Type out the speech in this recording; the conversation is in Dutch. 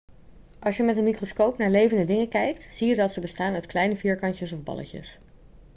als je met een microscoop naar levende dingen kijkt zie je dat ze bestaan uit kleine vierkantjes of balletjes